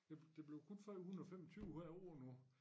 Det det bev kun 325 hvert år nu